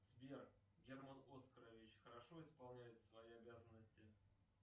сбер герман оскарович хорошо исполняет свои обязанности